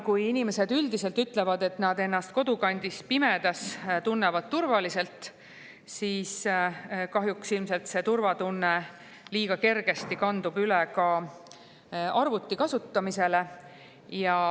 Kuigi inimesed üldiselt ütlevad, et nad tunnevad ennast kodukandis pimedas turvaliselt, siis kahjuks kandub see turvatunne liiga kergesti üle ka arvuti kasutamisele.